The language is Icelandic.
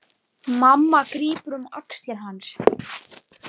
Mamma grípur um axlir hans.